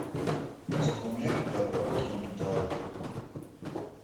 инструмент для обработки металла